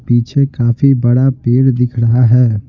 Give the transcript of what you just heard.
पीछे काफी बड़ा पेड़ दिख रहा है।